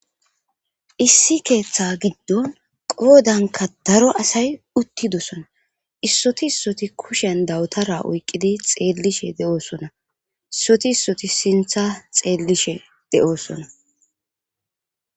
Issi keeththa giddon qoodankka daro asay uttidosona issoti issoti kushen dawutara oyqqidi xeellishe de'oosona issoti issoti siinththa xeellishshe de'oosona